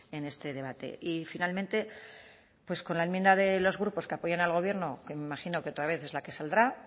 en este debate y finalmente pues con la enmienda de los grupos que apoyan al gobierno que me imagino que otra vez es la que saldrá